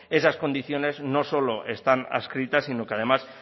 esas condiciones no solo están adscritas sino que además